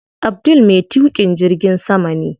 Abdul me tuƙin jirgin sama ne.